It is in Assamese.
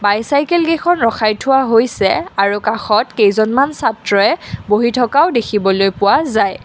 বাইচাইকেল কেইখন ৰখাই থোৱা হৈছে আৰু কাষত কেইজনমান ছাত্ৰই বহি থকাও দেখিবলৈ পোৱা যায়।